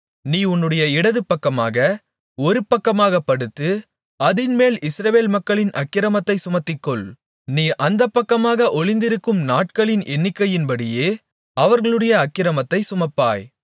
நீ உன்னுடைய இடதுபக்கமாக ஒருபக்கமாகப் படுத்து அதின்மேல் இஸ்ரவேல் மக்களின் அக்கிரமத்தைச் சுமத்திக்கொள் நீ அந்தப்பக்கமாக ஒருக்களித்திருக்கும் நாட்களின் எண்ணிக்கையின்படியே அவர்களுடைய அக்கிரமத்தைச் சுமப்பாய்